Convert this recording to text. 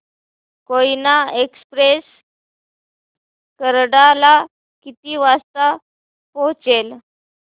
Koyna express Karad ला किती वाजता पोहचेल